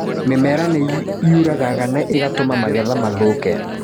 Mĩmera nĩ ĩũragaga na ĩgatũma magetha mathũke.